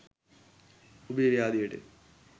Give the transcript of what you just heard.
ඔබේ ව්‍යාධියට